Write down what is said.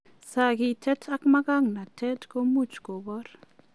Sakitet ak managnatet ko much koboor.